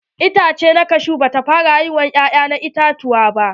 Itace na kashu bata fara haifar ƴa'ƴan iyatuwa ba.